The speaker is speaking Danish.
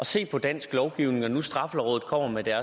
se på dansk lovgivning når nu straffelovrådet kommer med